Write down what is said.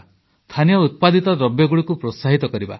ସ୍ଥାନୀୟ ଉତ୍ପାଦିତ ଦ୍ରବ୍ୟଗୁଡ଼ିକୁ ପ୍ରୋତ୍ସାହିତ କରିବା